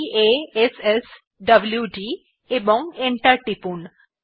p a s s w d এবং enter টিপুন